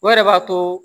O yɛrɛ b'a to